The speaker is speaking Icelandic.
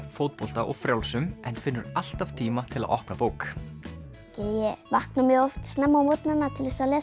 fótbolta og frjálsum en finnur alltaf tíma til að opna bók ég vakna mjög oft snemma á morgnanna til að lesa